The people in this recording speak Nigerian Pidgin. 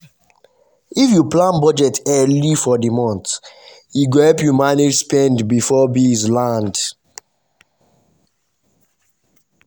if you plan budget early for the month e go help you manage spend before bills land.